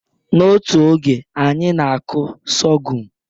N'otu oge, anyị na-akụ sorghum